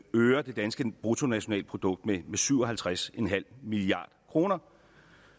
øger det danske bruttonationalprodukt med syv og halvtreds milliard kr